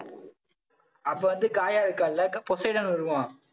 அப்ப வந்து காயா இருக்கால்ல க~ போஸிடான்னு வருவோம்.